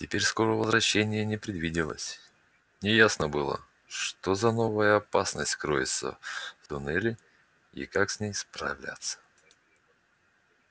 теперь скорого возвращения не предвиделось неясно было что за новая опасность кроется в туннеле и как с ней справляться